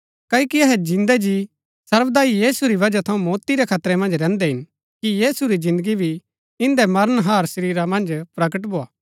क्ओकि अहै जिन्दै जी सर्वदा यीशु री वजह थऊँ मौती रै खतरै मन्ज रैहन्दै हिन कि यीशु री जिन्दगी भी इन्दै मरनहार शरीरा मन्ज प्रगट भोआ